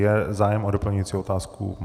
Je zájem o doplňující otázku?